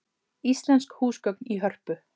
Íslensk húsgögn í Hörpu